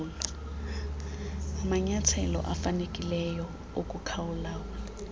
amanyathelo afanelekileyo okukulawula